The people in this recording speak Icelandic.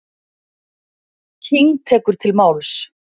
King tekur til máls.